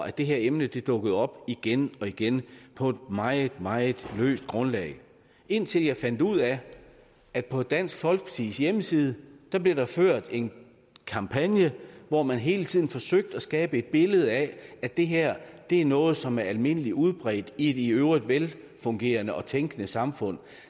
at det her emne dukkede op igen og igen på et meget meget løst grundlag indtil jeg fandt ud af at på dansk folkepartis hjemmeside blev der ført en kampagne hvor man hele tiden forsøgte at skabe et billede af at det her er noget som er almindelig udbredt i et i øvrigt velfungerende og tænkende samfund